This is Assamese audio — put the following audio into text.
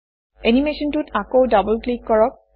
এনিমেচনটোত আকৌ ডবল ক্লিক কৰক